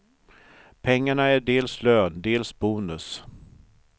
Pengarna är dels lön, dels bonus.